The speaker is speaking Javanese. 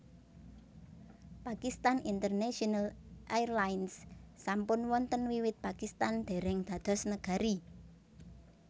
Pakistan International Airlines sampun wonten wiwit Pakistan déréng dados negari